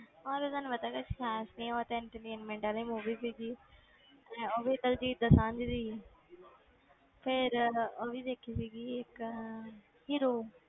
ਉਹ ਤੇ ਤੁਹਾਨੂੰ ਪਤਾ ਕੁਛ ਖ਼ਾਸ ਨੀ ਉਹ ਤੇ entertainment ਵਾਲੀ movie ਸੀਗੀ ਹੈਂ ਉਹ ਵੀ ਦਲਜੀਤ ਦੋਸਾਂਝ ਦੀ ਸੀ ਫਿਰ ਉਹ ਵੀ ਦੇਖੀ ਸੀਗੀ ਇੱਕ hero